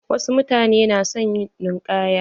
Wasu mutanen na son ninkaya.